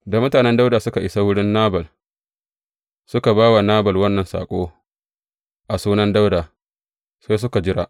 Da mutanen Dawuda suka isa wurin Nabal, suka ba wa Nabal wannan saƙo a sunan Dawuda, sai suka jira.